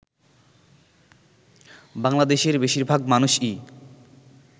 বাংলাদেশের বেশিরভাগ মানুষই